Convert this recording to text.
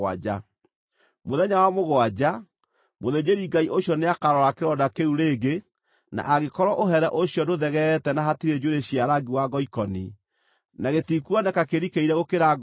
Mũthenya wa mũgwanja, mũthĩnjĩri-Ngai ũcio nĩakarora kĩronda kĩu rĩngĩ na angĩkorwo ũhere ũcio ndũthegeete na hatirĩ njuĩrĩ cia rangi wa ngoikoni, na gĩtikuoneka kĩrikĩire gũkĩra ngoothi-rĩ,